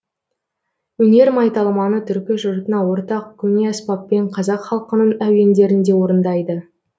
өнер майталманы түркі жұртына ортақ көне аспаппен қазақ халқының әуендерін де орындайды